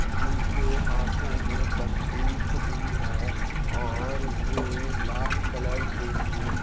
जिनके हाथों में बंदूक भी है और वे लाल कलर के कुर्सी--